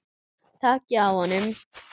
Takið á honum!